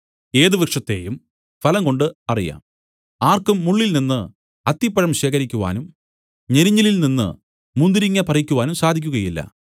ഏത് വൃക്ഷത്തെയും ഫലംകൊണ്ട് അറിയാം ആർക്കും മുള്ളിൽനിന്ന് അത്തിപ്പഴം ശേഖരിക്കുവാനും ഞെരിഞ്ഞിലിൽ നിന്നു മുന്തിരിങ്ങ പറിക്കുവാനും സാധിക്കുകയില്ല